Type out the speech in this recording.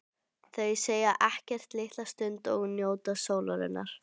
Þau segja ekkert litla stund og njóta sólarinnar.